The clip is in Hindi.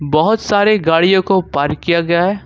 बहोत सारे गाड़ियों को पार्क किया गया है।